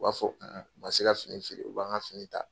U b'a fɔ u man se ka fini feere u b'an ka fini ta